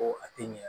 Ko a tɛ ɲɛ